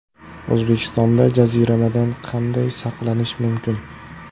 O‘zbekistonda jaziramadan qanday saqlanish mumkin?.